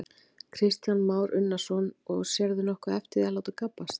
Kristján Már Unnarsson: Og sérðu nokkuð eftir því að láta gabbast?